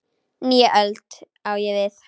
Nýja öld, á ég við.